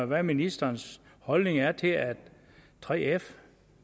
hvad ministerens holdning er til at 3f